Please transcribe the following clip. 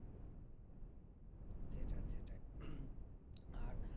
সেটাই সেটাই আর